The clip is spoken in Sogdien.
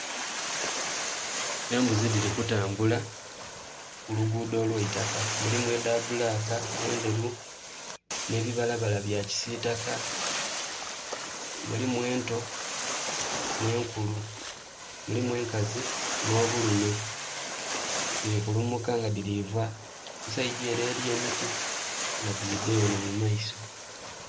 Embuzi dhili kutambula ku luguudo olw'eitaka, mulimu edha bbulaaka, endheru nh'ebibalabala bya kisitaka, mulimu ento nh'enkulu, mulimu enkazi nh'obulume. Dhili kulumuka nga dhilii va ku sayidi ere eri emiti nga dhidha enho mu maiso.